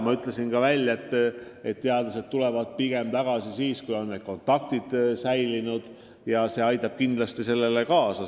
Ma ütlesin ka seda, et teadlased tulevad pigem tagasi siis, kui kontaktid kodumaal on säilinud – see aitab kindlasti kaasa.